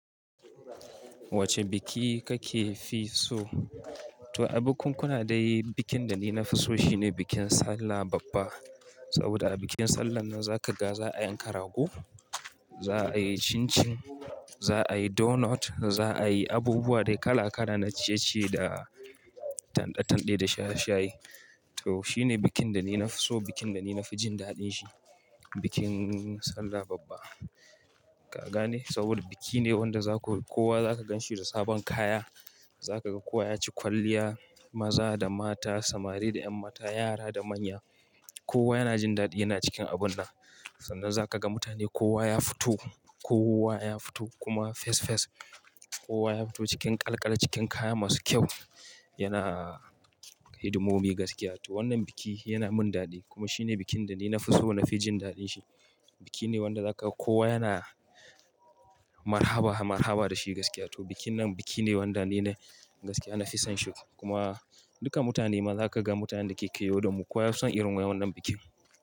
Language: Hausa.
Wacce biki kake fi so? To a bikunkuna dai bikin da ni na fi so shine bikin Sallah babba. Saboda a bikin Sallah nan zaka ga za a yanka rago, za a yi chin chin, za a yi donut, za a yi abubuwa dai kala kala na ciye-ciye da tanɗe-tanɗe da shaye-shaye. To shi ne bikin da ni na fi so, bikin da ni na fi jin daɗin shi. Bikin Sallah babba. Ka gane saboda biki ne wanda za ku, kowa zaka gan shi da sabon kaya. Zaka ga kowa ya ci kwalliya, maza da mata, samari da 'yan mata, yara da manya. Kowa yana jin daɗi yana cikin abun nan. Sannan zaka ga mutane kowa ya fito, kowa ya fito kuma fes fes. Kowa ya fito cikin ƙalƙal cikin kaya masu kyau, yana hidimomi gaskiya. To wannan biki yana min daɗi kuma shi ne bikin da ni na fi so na fi jin daɗin shi. Biki ne wanda zaka kowa yana marhaba, marhaba da shi gaskiya. To bikin nan biki ne wanda ni na gaskiya na fi son shi kuma duka mutane ma za kaga mutanen da ke kewaye da mu kowa ya fi son irin wayan wannan bikin.